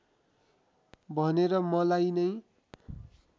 भनेर मलाई नै